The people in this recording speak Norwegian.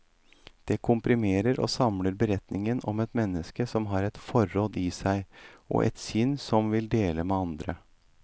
Det komprimerer og samler beretningen om et menneske som har et forråd i seg, og et sinn som vil dele med andre.